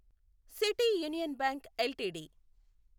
city Union Bank LTD